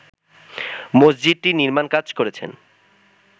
মসজিদটির নির্মাণ কাজ করেছেন